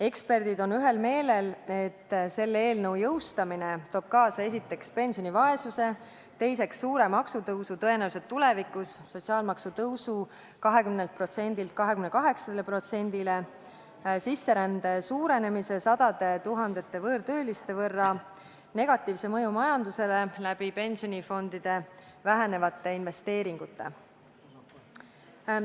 Eksperdid on ühel meelel, et selle eelnõu jõustamine toob kaasa esiteks pensionivaesuse, teiseks suure maksutõusu, tõenäoliselt tulevikus sotsiaalmaksu tõusu 20%-lt 28%-le, sisserände suurenemise sadade tuhandete võõrtööliste võrra, negatiivse mõju majandusele pensionifondide vähenevate investeeringute tõttu.